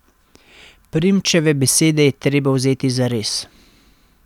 Primčeve besede je treba vzeti zares.